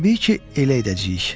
Təbii ki, elə edəcəyik.